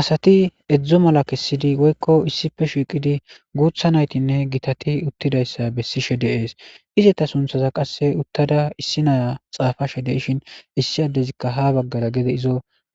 asati edzdzo mala kessidi woykko issife shiiqidi guutha naytinne gitati uttidayssa bessishe deees izeta sunthaza qasse uttada issi naya xaafashe de'ishin issi addezikka ha baggara gede izo